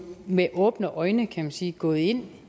med åbne øjne kan man sige gået ind